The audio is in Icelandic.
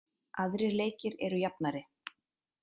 Aðrir leikir eru jafnari